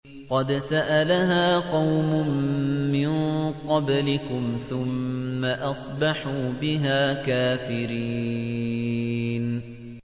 قَدْ سَأَلَهَا قَوْمٌ مِّن قَبْلِكُمْ ثُمَّ أَصْبَحُوا بِهَا كَافِرِينَ